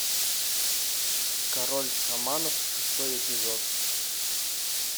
король шаманов шестой эпизод